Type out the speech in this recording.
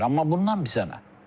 Amma bundan bizə nə?